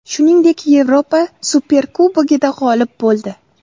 Shuningdek, Yevropa Superkubogida g‘olib bo‘ldi.